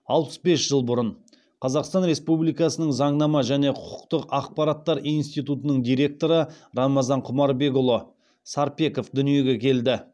алпыс бес жыл бұрын қазақстан республикасының заңнама және құқықтық ақпараттар институтының директоры рамазан құмарбекұлы сарпеков дүниеге келді